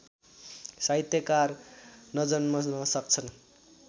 साहित्यकार नजन्मन सक्छ